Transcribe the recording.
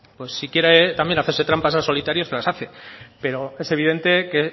pues si quiere también hacerse trampas al solitario se las hace pero es evidente que